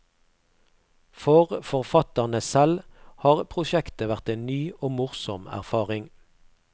For forfatterne selv har prosjektet vært en ny og morsom erfaring.